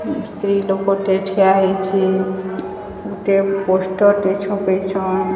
ସ୍ତ୍ରୀ ଲୋକଟେ ଠିଆ ହେଇଛି ଗୋଟେ ପୋଷ୍ଟର ଟେ ଛପେଇଛନ୍।